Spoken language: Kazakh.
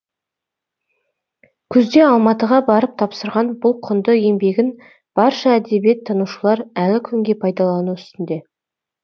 күзде алматыға барып тапсырған бұл құнды еңбегін барша әдебиет танушылар әлі күнге пайдалану үстінде